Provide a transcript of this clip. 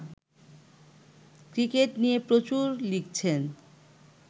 cricket নিয়ে প্রচুর লিখছেন